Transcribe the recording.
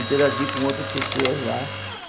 Interagia com outras pessoas lá.